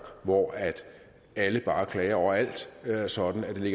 hvor alle bare klager over alt sådan at det